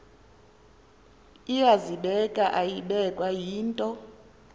iyazibeka ayibekwa yinto